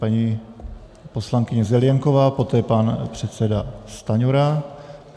Paní poslankyně Zelienková, poté pan předseda Stanjura.